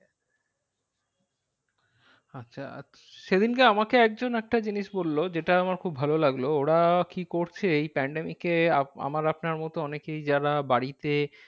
আচ্ছা আর সেদিনকে আমাকে একজন একটা জিনিস বললো যেটা আমার খুব ভালো লাগলো। ওরা কি করছে এই pandemic এ আমার আপনার মতো অনেকেই যারা বাড়িতে